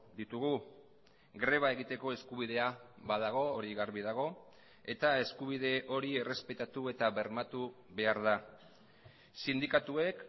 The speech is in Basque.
ditugu greba egiteko eskubidea badago hori garbi dago eta eskubide hori errespetatu eta bermatu behar da sindikatuek